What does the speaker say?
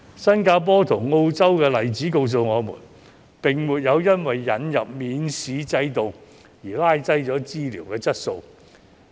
新加坡及澳洲的例子告訴我們，當地並沒有因為引入免試制度而拉低了醫療質素。